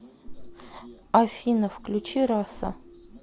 афина включи раса